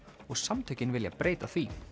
og samtökin vilja breyta því